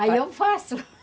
Aí eu faço